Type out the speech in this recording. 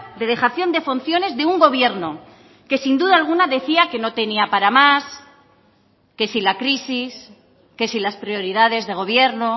de dejación de funciones de un gobierno que sin duda alguna decía que no tenía para más que si la crisis que si las prioridades de gobierno